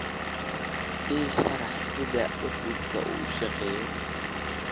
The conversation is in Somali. ii sharax sida cufisjiidku u shaqeeyo